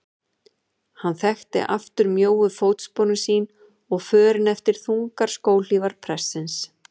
Hann þekkti aftur mjóu fótsporin sín og förin eftir þungar skóhlífar prestsins.